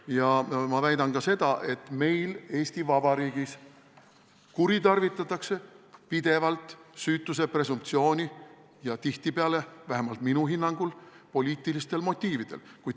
Ja ma väidan ka seda, et meil Eesti Vabariigis kuritarvitatakse pidevalt süütuse presumptsiooni ja seda tihtipeale – vähemalt minu hinnangul – poliitilistel motiividel.